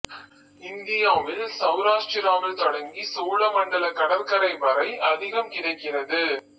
இந்தியாவில் செளராஷ்டிராவில் தொடங்கி சோழ மண்டல கடற்கரை வரை அதிகம் கிடைக்கிறது